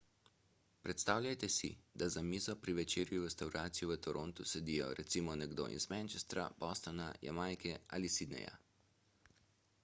predstavljajte si da za mizo pri večerji v restavraciji v torontu sedijo recimo nekdo iz manchestra bostona jamajke in sydneyja